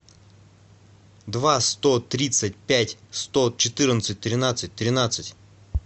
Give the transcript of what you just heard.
два сто тридцать пять сто четырнадцать тринадцать тринадцать